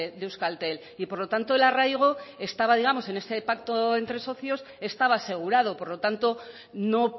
de euskaltel y por lo tanto el arraigo estaba digamos en este pacto entre socios estaba asegurado por lo tanto no